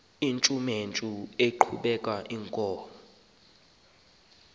amadod akomkhul eqhub